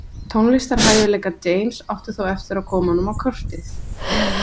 Tónlistarhæfileikar James áttu þó eftir að koma honum á kortið.